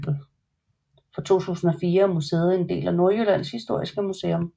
Fra 2004 er museet en del af Nordjyllands Historiske Museum